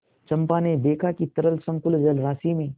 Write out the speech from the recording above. चंपा ने देखा कि तरल संकुल जलराशि में